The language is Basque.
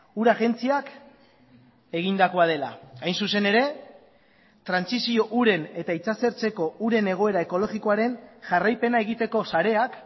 ura agentziak egindakoa dela hain zuzen ere trantsizio uren eta itsasertzeko uren egoera ekologikoaren jarraipena egiteko sareak